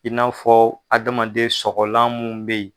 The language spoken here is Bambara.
In n'a fɔ adamaden sɔgɔgɔlan munnu bɛ yen.